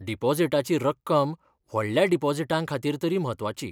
डिपॉझिटाची रक्कम व्हडल्या डिपॉझिटांखातीर तरी म्हत्वाची.